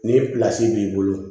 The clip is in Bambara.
Ni b'i bolo